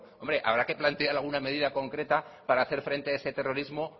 hombre habrá que plantear alguna medida concreta para hacer frente a ese terrorismo